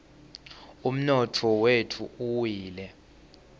umnotfo wetfu uwile